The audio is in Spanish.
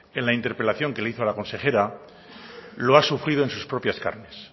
en la interpelación que le hizo a la consejera lo ha sufrido en sus propias carnes